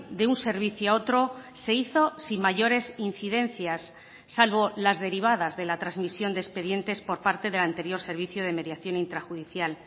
de un servicio a otro se hizo sin mayores incidencias salvo las derivadas de la transmisión de expedientes por parte del anterior servicio de mediación intrajudicial